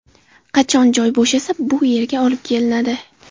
Qachon joy bo‘shasa, bu yerga olib kelinadi.